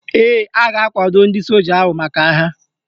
Ee, a ga-akwado ndị soja ahụ maka agha